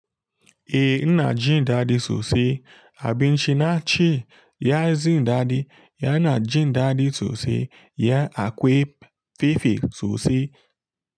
Eh ina jin daɗi sosai. Abinci naci, ya yi jin daɗi. Yana jin daɗi sosai. Ya akwai fefe sosai.